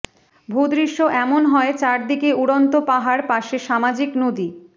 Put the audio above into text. ভূদৃশ্য এমন হয় চারদিকে উড়ন্ত পাহাড় পাশে সামাজিক নদী